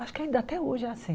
Acho que ainda até hoje é assim.